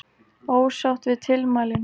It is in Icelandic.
Ósátt við tilmælin